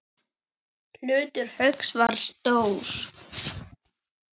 Hlutur Hauks var stór.